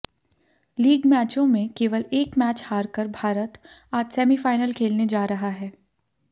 league मैचों में केवल एक मैच हारकर भारत आज सेमीफाइनल खेलने जा रहा है